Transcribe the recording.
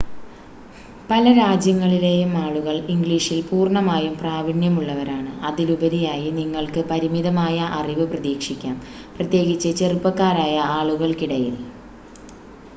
പല രാജ്യങ്ങളിലെയും ആളുകൾ ഇംഗ്ലീഷിൽ പൂർണ്ണമായും പ്രാവീണ്യമുള്ളവരാണ് അതിലുപരിയായി നിങ്ങൾക്ക് പരിമിതമായ അറിവ് പ്രതീക്ഷിക്കാം പ്രത്യേകിച്ച് ചെറുപ്പക്കാരായ ആളുകൾക്കിടയിൽ